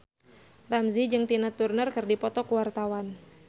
Ramzy jeung Tina Turner keur dipoto ku wartawan